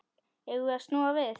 Eigum við snúa við?